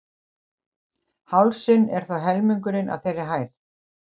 hálsinn er þó helmingurinn af þeirri hæð